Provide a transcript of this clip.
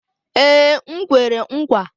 Ee, m kwere nkwa